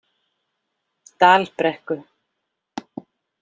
Dalbrekku